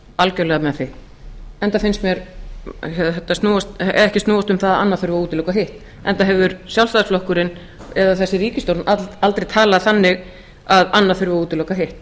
algjörlega með því enda finnst mér þetta ekki snúast um að annað þurfi að útiloka hitt enda hefur sjálfstæðisflokkurinn eða þessi ríkisstjórn aldrei talað þannig að annað þurfi að útiloka hitt